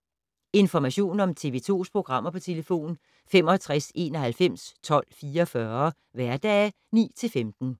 Information om TV 2's programmer: 65 91 12 44, hverdage 9-15.